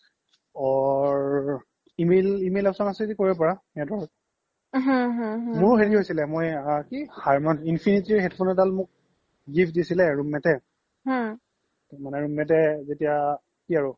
or email option আছে য্দি কৰিব পাৰা সিহতৰ মোৰ হেৰি হৈছিলে infinity ৰ headphone এদাল মোক gift দিছিলে আৰু roommate য়ে roommate যেতিয়া কি আৰু